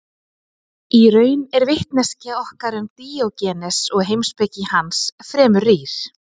Í raun er vitneskja okkar um Díógenes og heimspeki hans fremur rýr.